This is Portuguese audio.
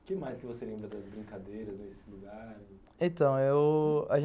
O que mais você lembra das brincadeiras nesse lugar? então, eu... a gente